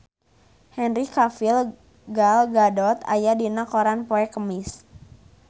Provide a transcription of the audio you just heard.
Henry Cavill Gal Gadot aya dina koran poe Kemis